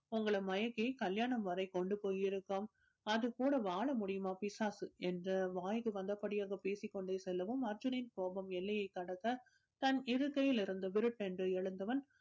உங்களை மயக்கி கல்யாணம் வரை கொண்டு போய் இருக்கும் அது கூட வாழ முடியுமா பிசாசு என்று வாய்க்கு வந்த படியாக பேசிக் கொண்டே செல்லவும் அர்ஜுனின் கோபம் எல்லையை கடக்க தன் இருக்கையில் இருந்து விருட்டென்று எழுந்தவன்